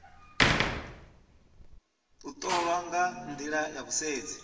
ṱolwa nga nḓila ya vhusedzi